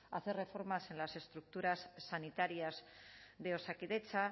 hacer reformas en las estructuras sanitarias de osakidetza